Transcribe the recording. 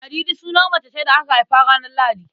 Ladidi sunan mace ce da aka haifa ranar Lahadi.